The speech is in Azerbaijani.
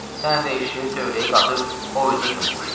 Sən elə eşşəyi tövləyə qatıb o üzdə cummuşdum.